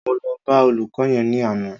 Mo lọ bá olùkọ́ yẹn ní àná